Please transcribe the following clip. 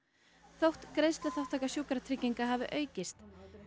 þótt greiðsluþátttaka Sjúkratrygginga hafi aukist